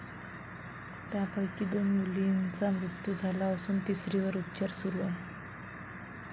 त्यापैकी दोन मुलींचा मृत्यू झाला असून तिसरीवर उपचार सुरू आहे.